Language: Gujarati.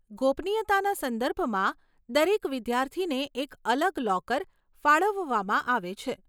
ગોપનીયતાના સંદર્ભમાં, દરેક વિદ્યાર્થીને એક અલગ લોકર ફાળવવામાં આવે છે.